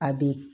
A be